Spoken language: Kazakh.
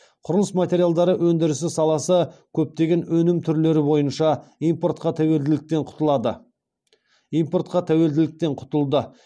құрылыс материалдары өндірісі саласы көптеген өнім түрлері бойынша импортқа тәуелділіктен құтылды